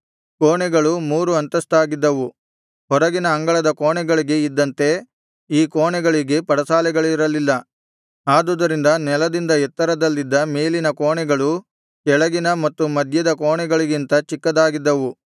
ಕೋಣೆಗಳು ಮೂರು ಅಂತಸ್ತಾಗಿದ್ದವು ಹೊರಗಿನ ಅಂಗಳದ ಕೋಣೆಗಳಿಗೆ ಇದ್ದಂತೆ ಈ ಕೋಣೆಗಳಿಗೆ ಪಡಸಾಲೆಗಳಿರಲಿಲ್ಲ ಆದುದರಿಂದ ನೆಲದಿಂದ ಎತ್ತರದಲ್ಲಿದ್ದ ಮೇಲಿನ ಕೋಣೆಗಳು ಕೆಳಗಿನ ಮತ್ತು ಮಧ್ಯದ ಕೋಣೆಗಳಿಗಿಂತ ಚಿಕ್ಕದಾಗಿದ್ದವು